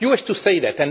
You used to say that.